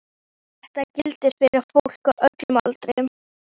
Þetta gildir fyrir fólk á öllum aldri.